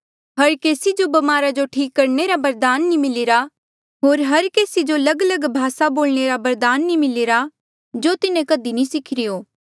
हर केसी जो ब्मारा जो ठीक करणे रा बरदान नी मिलिरा होर हर केसी जो लगलग भासा बोलणे रा बरदान नी मिलिरा जो तिन्हें कधी भी नी सिखिरी हो